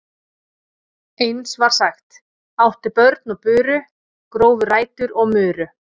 Eins var sagt: Áttu börn og buru, grófu rætur og muru.